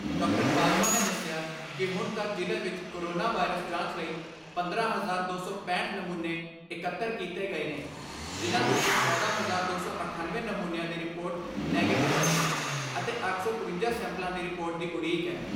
ਬਾਜਵਾ ਨੇ ਦਸਿਆ ਕਿ ਹੁਣ ਤੱਕ ਜ਼ਿਲ੍ਹੇ ਵਿਚ ਕੋਰੋਨਾ ਵਾਇਰਸ ਜਾਂਚ ਲਈ ਪੰਦਰਾਂ ਹਜ਼ਾਰ ਦੋ ਸੌ ਪੈਹਂਠ ਨਮੂਨੇ ਇਕੱਤਰ ਕੀਤੇ ਗਏ ਨੇ ਜਿਨ੍ਹਾਂ ਵਿਚੋਂ ਚੌਦਾਂ ਹਜ਼ਾਰ ਦੋ ਸੌ ਅਠਣਵੇਂ ਨਮੂਨਿਆਂ ਦੀ ਰਿਪੋਰਟ ਨੈਗਟਿਵ ਆਈ ਐ ਅਤੇ ਅੱਠ ਸੌ ਇਕਵੰਜਾ ਸੈਂਪਲਾਂ ਦੀ ਰਿਪੋਰਟ ਦੀ ਉਡੀਕ ਐ।